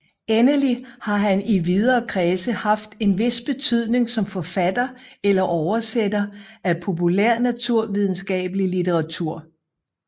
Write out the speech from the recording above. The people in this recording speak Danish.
Endelig har han i videre kredse haft en vis betydning som forfatter eller oversætter af populærnaturvidenskabelig litteratur